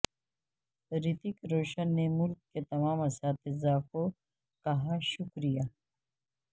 رتیک روشن نے ملک کے تمام اساتذہ کو کہا شکریہ